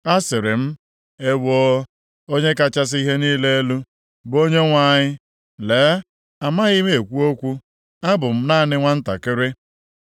Asịrị m, “Ewoo, Onye kachasị ihe niile elu, bụ Onyenwe anyị. Lee, amaghị m ekwu okwu. Abụ m naanị nwantakịrị.”